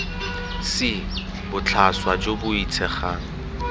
c botlhaswa jo bo boitshegang